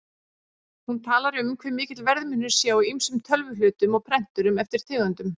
Hún talar um hve mikill verðmunur sé á ýmsum tölvuhlutum og prenturum eftir tegundum.